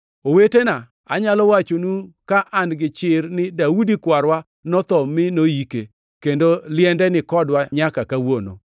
“Owetena, anyalo wachonu ka an gichir ni Daudi kwarwa notho mi noyike, kendo liende ni kodwa nyaka kawuono.